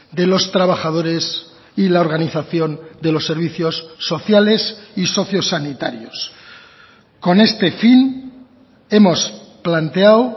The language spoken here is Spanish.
de los trabajadores y la organización de los servicios sociales y socio sanitarios con este fin hemos planteado